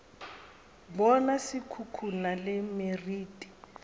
bona se khukhuna le meriti